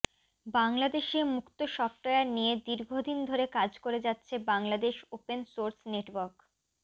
বাংলাদেশে মুক্ত সফটওয়্যার নিয়ে দীর্ঘদিন ধরে কাজ করে যাচ্ছে বাংলাদেশ ওপেন সোর্স নেটওয়ার্ক